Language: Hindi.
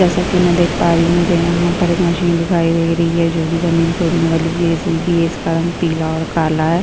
जैसा कि मैं देख पा रही हूं मुझे यहाँ पर एक मशीन दिखाई दे रही है जोकि जमीन खोदने वाली जेसीबी हैं इसका रंग पीला और काला है।